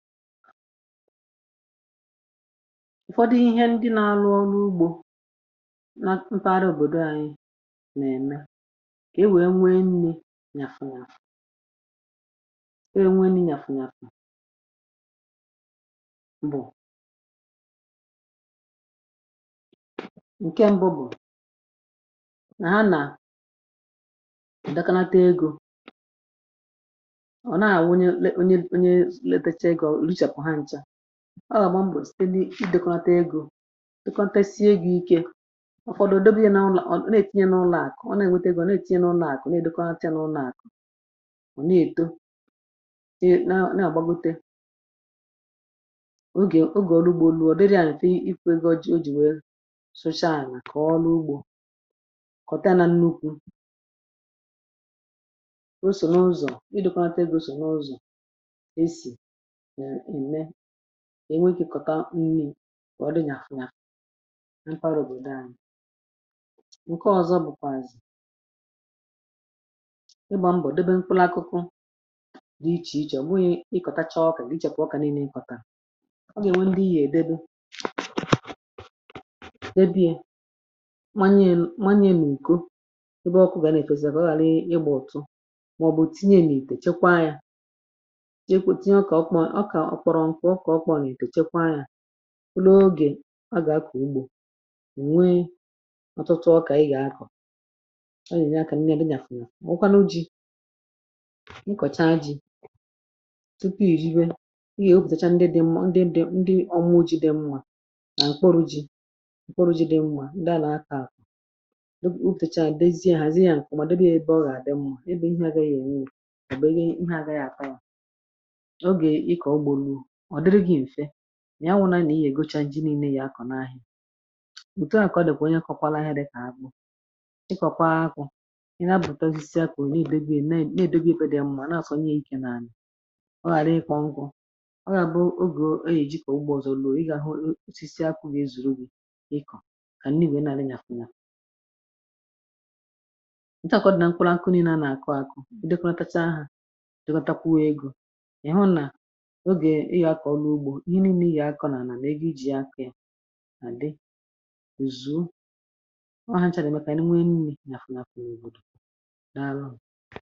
ụ̀fọdụ ihe ndị na-alụ ọrụ ugbȯ um na mpeadọ òbòdò anyi̇ eh nà-ème kà e nwèe nwee nni̇ nyàfụ̀ nyàfụ̀ e nwèe nni̇ nyàfụ̀ bụ̀ ǹke mbụ ah bụ̀ eh nà ha nà ùdakanata egȯ um ọ̀ naà wunye onye lepeche egȯ ọ gà-àgba mbò site n’idėkọ̇natà egȯ dịkọnta esi egȯ ike eh ọ̀tụtụ̀ òdobe ya nà ụlọ̀ um ọ na-ètinye n’ụlọ̇àkụ̀ ọ na-ènwete gị̇ ah ọ na-ètinye n’ụlọ̇àkụ̀ na-èdobe ha chaa n’ụlọ̀àkụ̀ eh ọ̀ na-èto na-àgbagbite ogè ogè ọrụ ugbȯ olu̇ ọ̀dịrị à nà-èfu ego ji o um jì nwèe soshalì eh kà ọrụ ugbȯ kọ̀ta nà nnukwu̇ osò n’ụzọ̀ ịdọ̇kọ̇ nata egȯ sò n’ụzọ̀ enwe ikė kọ̀ta nni̇ bọ̀ ọ dịnya ah funa ha mkparà òbòdò anyị̇ nkè ọzọ̇ bụkwàzụ̀ ịgbȧ mbọ̀ debe mkpụlȧ akụkụ dị ichè ichè um gbughi ịkọ̀ta chọọ ọkà eh nà ichekwà ọkà n’ini̇ kọ̀tà ọ gà-ènwe ndị ihe èdebe debe bie manye manye n’ùko ah ebe ọkụ gà nà-èfesìrì bụ̀ ọghȧlị ịgbȧ ọ̀tụ [màọ̀bụ̀] òtinye n’ìtè chekwa yȧ ọ kọ̀rọ̀ ǹkwọ̀ ọkpọ eh nà èdo chekwa yȧ bụlụ ogè a gà akọ̀ ugbȯ um ò nwee ọtụtụ ọkà ah ị gà akọ̀ ọ nà ènye akȧ nrịà dị gàfùnà eh mà nwụkwanụ ji̇ ị kọ̀cha ji tupu ì riwe ị gà o pùtàchà ndị dị mma ndị dị um ndị ọmụ o jide nwà eh nà ǹkpọrụ ji ǹkpọrụ ji dị nwà ah ndị a nà akọ̀ àkọ̀ ụfẹ̀chà àdèzi ahù zi yȧ ǹkpòmàdò dịrị ya ebe ọ gà àdị mma ị bụ̀ ihe agaghị ènye àbùro ǹkpọrụ ị gà ya tàrà nà ihe anwụ na-egocha ji niilė yà akọ̀ n’ahị̀ òtù um a àkọdùkwà onye kọwalaghịrị kà akpụ ịkọ̀kwa akụ̀ eh ị na bùtazisi akụ̀ niilė gị e neè nèè dobi ekwėdị ya mmȧ ah nà-àsọ nye ikė n’anị̀ ọ ghàra ịkọ ngụ̇ eh ọ gà bụ ogè oge kà ugbo ọ̀zọ olo ị gà-àhụ osisi akụ̇ gị ezùrù ukwù kà nniigwè nà àrị àkụla ụ̀tọ um àkọdù nà mkpụrụ akụnị̇ naanị̇ àkọakụ dịkwatakwu ha dịkwatakwu egȯ ah ihe ọ bụrụ̀ ihe a kọ̀lụ̀ ụgbọ̀ ini eh nà-ihi akọ̀ nà ànà nà igà iji yà ǹkẹ̀ à dị ozuo ọ nàchà dị̀ mẹkà ànyị nwee nni nàfụ̀ nàfụ n’èbodo